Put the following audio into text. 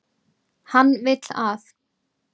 Hann vill að.